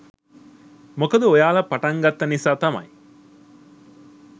මොකද ඔයාලා පටන් ගත්ත නිසා තමයි